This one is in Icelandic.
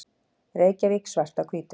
Reykjavík, Svart á hvítu.